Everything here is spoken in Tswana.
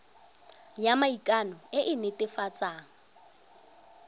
ya maikano e e netefatsang